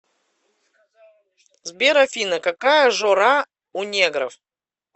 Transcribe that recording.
сбер афина какая жора у негров